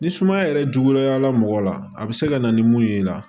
Ni sumaya yɛrɛ juguyala mɔgɔ la a be se ka na ni mun ye i la